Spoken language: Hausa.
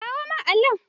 Kawo min alli!